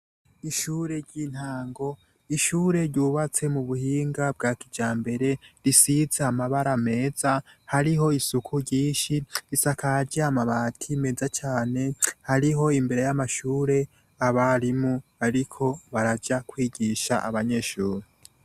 Ishure ryintango, ishure ryubatse mu buhinga bwa kijambere, risize amabara meza, hariho isuku ryinshi. Risakaje amabati meza cane, hariho imbere y'amashure abarimu bariko baraja kwigisha abanyeshure.